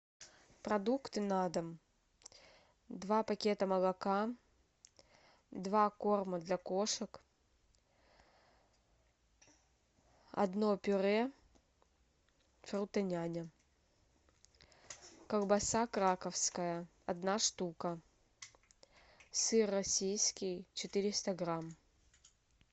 продукты на дом два пакета молока два корма для кошек одно пюре фрутоняня колбаса краковская одна штука сыр российский четыреста грамм